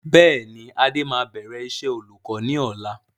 Bẹ́ẹ̀ni adé máa bẹ̀rẹ̀ iṣẹ́ olùkọ́ ni ọ̀la.